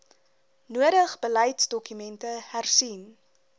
nodig beleidsdokumente hersien